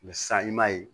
san i m'a ye